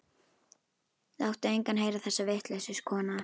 Láttu engan heyra þessa vitleysu, kona.